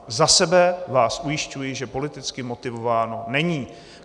Za sebe vás ujišťuji, že politicky motivováno není.